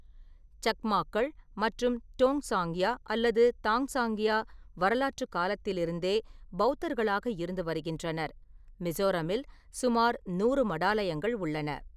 சக்மாக்கள் மற்றும் டோங்சாங்யா அல்லது தான்சாங்கியா வரலாற்றுக் காலத்திலிருந்தே பெளத்தர்களாக இருந்து வருகின்றனர், மிசோரமில் சுமார் நூறு மடாலயங்கள் உள்ளன.